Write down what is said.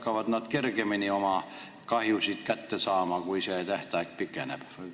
Kas nad hakkavad kergemini oma kahjutasusid kätte saama, kui see tähtaeg pikeneb?